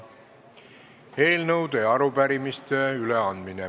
Eelnõude ja arupärimiste üleandmine.